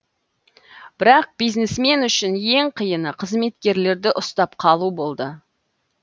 бірақ бизнесмен үшін ең қиыны қызметкерлерді ұстап қалу болды